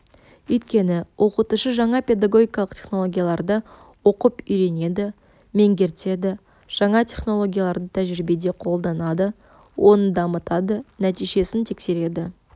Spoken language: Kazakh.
өйткені оқытушы жаңа педагогикалық технологиялады оқып үйренеді меңгертеді жаңа технологияларды тәжірибеде қолданады оны дамытады нәтижесін тексереді